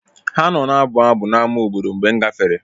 Ha nọ na-abụ abụ n’ámá obodo mgbe m gafere.